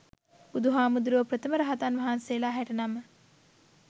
බුදුහාමුදුරුවො ප්‍රථම රහතන් වහන්සේලා හැට නම